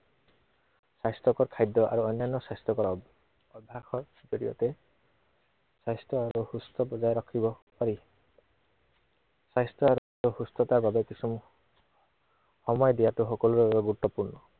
স্বাস্থ্য়কৰ খাদ্য় আৰু অন্য়ান্য় স্বাস্থ্য়কৰ আহ অভ্য়াসৰ জড়িয়তে, স্বাস্থ্য় আৰু সুস্থ বজাই ৰাখিব পাৰি। স্বাস্থ্য় আৰু সুস্থতাৰ বাবে কিছু দিয়াটো সকলোৰে বাবে গুৰুত্বপূৰ্ণ।